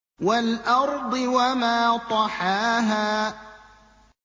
وَالْأَرْضِ وَمَا طَحَاهَا